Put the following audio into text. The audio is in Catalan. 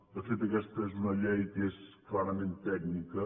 de fet aquesta és una llei que és clarament tècnica